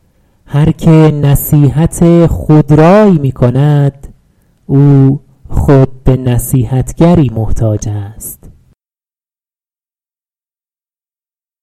هر که نصیحت خودرای می کند او خود به نصیحتگری محتاج است